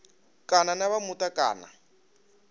kana na vha muta kana